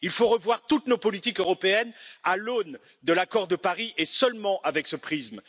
Il faut revoir toutes nos politiques européennes à l'aune de l'accord de Paris et seulement à travers ce prisme.